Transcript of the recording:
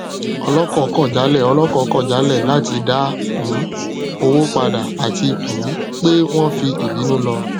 ọlọkọ kọ jálẹ ọlọkọ kọ jálẹ láti dá um owó padà àti um pé wọn fi ìbínú lọ